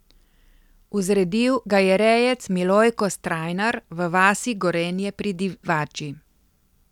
Vzredil ga je rejec Milojko Strajnar v vasi Gorenje pri Divači.